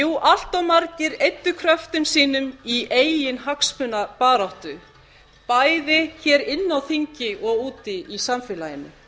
jú allt margir eyddu kröftum sínum í eiginhagsmunabaráttu bæði hér inni á þingi og úti í samfélaginu